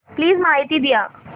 please माहिती द्या